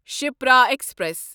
Shipra express